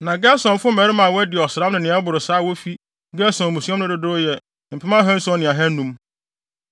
Na Gersonfo mmarima a wɔadi ɔsram ne nea ɛboro saa a wofi Gerson mmusua mu no dodow yɛ mpem ahanson ne ahannum (7,500).